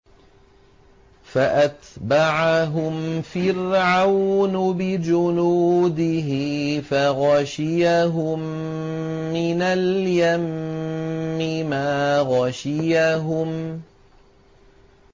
فَأَتْبَعَهُمْ فِرْعَوْنُ بِجُنُودِهِ فَغَشِيَهُم مِّنَ الْيَمِّ مَا غَشِيَهُمْ